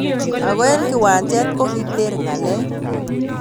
Ako eng kiwanjet kokiter ngalek.